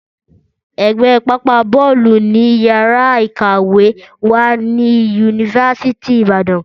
Ẹ̀gbẹ́ pápá bọ́ọ̀lù ni yàrá ìkàwé wà ní yunifásítì Ìbàdàn